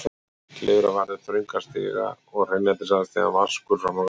Klifra varð upp þrönga stiga og hreinlætisaðstaðan vaskur frammi á gangi.